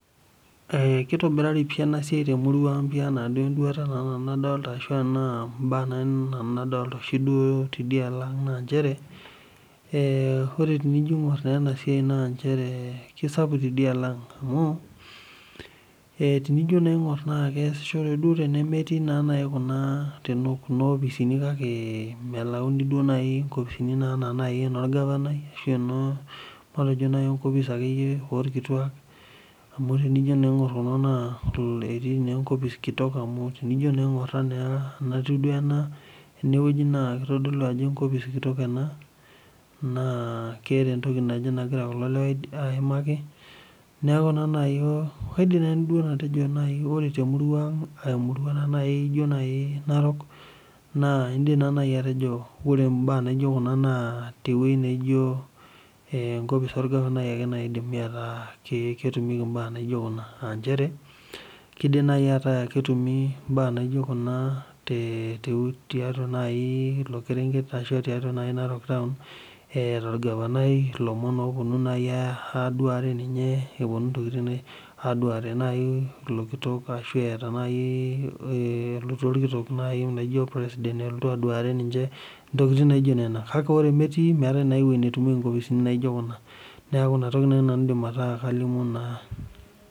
Kitobirari pii ena siai temurua ang ena enduata nadolita ashu ena mbaa nanu dolita oshi tidialo ang naa njere ore naa ena siai na kisapuk tidialo ang amu tenijo aing'or tenemetii naa Kuna opisini kake melauni naa nkopisini enaa eno orgavanai ashu eno matejo naaji akeyie enkopis orkituak amu tenijo aing'or enkopis kitok amu tenijo naa aing'or ena enatieu ena enewueji naa kitodolu Ajo enkopis kitok ena naa keeta entoki naje nagira kulo lewa ayimaki neeku ore naaji kaidim atejo ore temurua ang aa emurua ejio naaji Narok naa edim naaji atejo ore mbaa naijio Kuna tewueji nijio enkopis orgavanai edimie ataa ketumikie mbaa naijio Kuna aa njere kidim naaji ataa ketumi mbaa naijio Kuna tiatua naaji elo kerenket ashu tiatua naaji Narok etaa orgavanai elomon naaji opuonu aduare ninye aduare naaji elo kitok ashu etaa naaji elotu orkitok laijio opresident eleotu aduare ninche kake ore metii meetae naa ewueji netumieki nkopisini naijio Kuna neeku enatoki naaji nanu aidim ataa kalimu naa